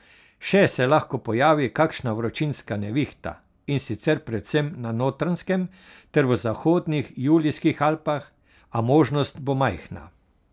Še se lahko pojavi kakšna vročinska nevihta, in sicer predvsem na Notranjskem ter v zahodnih Julijskih Alpah, a možnost bo majhna.